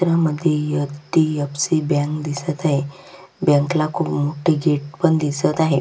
चित्रमध्ये HDFC. Bank दिसत आहे बँकेला खुप मोठे गेट पण दिसत आहे.